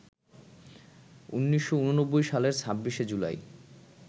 ১৯৮৯ সালের ২৬ জুলাই